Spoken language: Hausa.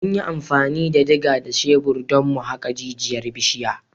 Mun yi amfani da diga da shebir don mu haƙe jijiyar bishiyar.